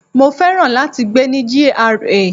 Mo féràn láti gbé ní GRA.